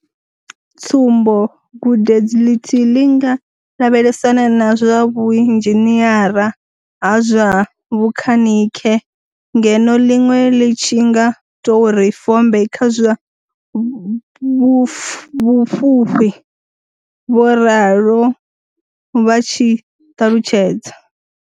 Tsumbo, gudedzi ḽithihi ḽi nga lavhelesana na zwa vhu inzhiniara ha zwa vhukhanikhe ngeno ḽiṅwe ḽi tshi nga tou ri fombe kha zwa vhufhufhi, vho ralo vha tshi ṱalutshedza.